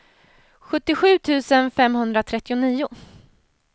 sjuttiosju tusen femhundratrettionio